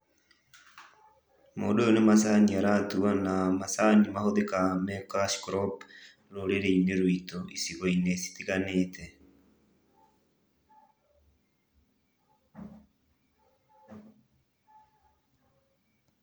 Mũndũ ũyũ nĩ macani aratua na macani mahũthĩkaga nĩ cash crop rũrĩrĩinĩ rwitũ icigoinĩ citiganĩte.